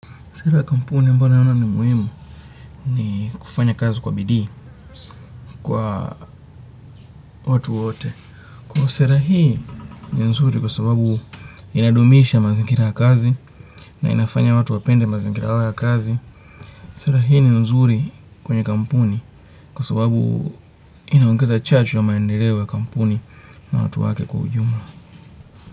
Sera kampuni mbayo naona ni muhimu ni kufanya kazi kwa bidii kwa watu wote. Kwamba sera hii ni nzuri kwa sababu inadumisha mazingira ya kazi na inafanya watu wapende mazingira yao ya kazi. Sera hii ni nzuri kwenye kampuni kwa sababu inaongeza chachu ya maendeleo ya kampuni na watu wake kwa ujumla.